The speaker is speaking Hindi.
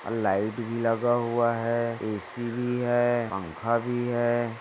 और लाइट भी लगा हुआ हैं ए_सी भी हैं पंखा भी हैं।